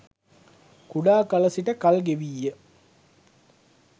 කුඩා කල සිට කල්ගෙවීය